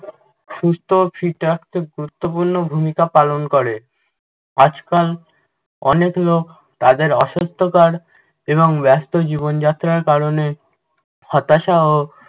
সুস্থ ও fit রাখতে গুরুত্বপূর্ণ ভূমিকা পালন করে। আজকাল অনেক লোক তাদের অসুস্থতার এবং ব্যাস্ত জীবনযাত্রার কারণে হতাশা ও